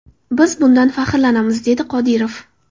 Biz bundan faxrlanamiz”, dedi Qodirov.